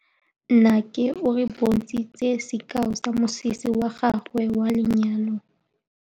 Nnake o re bontshitse sekaô sa mosese wa gagwe wa lenyalo.